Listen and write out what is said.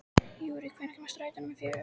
Rúrí, hvenær kemur strætó númer fjögur?